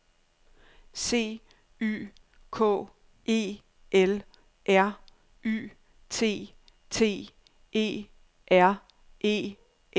C Y K E L R Y T T E R E N S